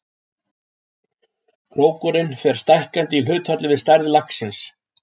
Krókurinn fer stækkandi í hlutfalli við stærð laxins.